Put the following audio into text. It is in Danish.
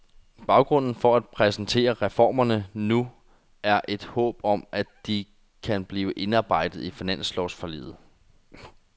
Baggrunden for at præsentere reformerne nu er et håb om, at de kan blive indarbejdet i finanslovsforliget.